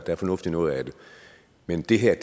er fornuft i noget af det men det her